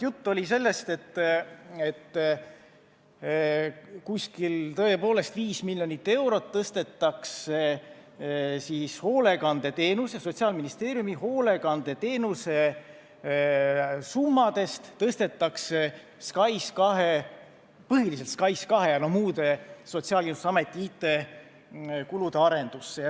Juttu oli sellest, et umbes 5 miljonit eurot tõstetakse Sotsiaalministeeriumi hoolekandeteenuse summadest põhiliselt SKAIS2 ja muude Sotsiaalkindlustusameti IT-kulude arendusse.